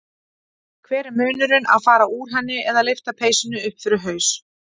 Hver er munnurinn að fara úr henni eða lyfta peysunni upp fyrir haus.